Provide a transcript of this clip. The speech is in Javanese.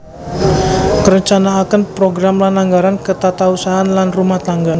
Ngrencanakaken program lan anggaran ketatausahaan lan rumah tangga